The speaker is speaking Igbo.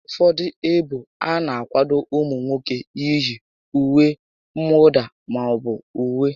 Ụfọdụ ébo ana akwado ụmụ nwoke iyi ùwé mwụda maọbụ uwe